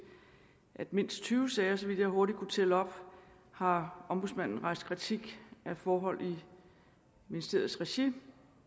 at i mindst tyve sager så vidt jeg hurtigt kunne tælle op har ombudsmanden rejst kritik af forhold i ministeriets regi